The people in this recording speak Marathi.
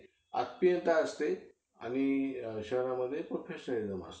आत्मीयता असते. आणि शहरामध्ये professionalism असतं.